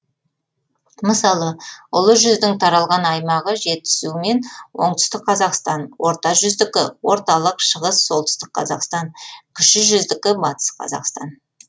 мысалы ұлы жүздің таралған аймағы жетісу мен оңтүстік қазақстан орта жүздікі орталық шығыс солтүстік қазақстан кіші жүздікі батыс қазақстан